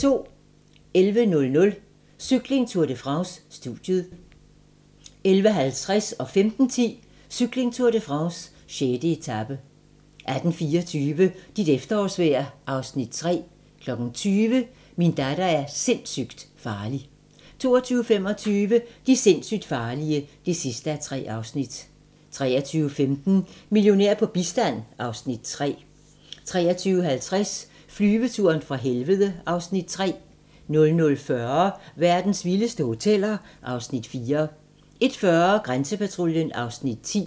11:00: Cykling: Tour de France - studiet 11:50: Cykling: Tour de France - 6. etape 15:10: Cykling: Tour de France - 6. etape 18:24: Dit efterårsvejr (Afs. 3) 20:00: Min datter er sindssygt farlig 22:25: De sindssygt farlige (3:3) 23:15: Millionær på bistand (Afs. 3) 23:50: Flyveturen fra helvede (Afs. 3) 00:40: Verdens vildeste hoteller (Afs. 4) 01:40: Grænsepatruljen (Afs. 10)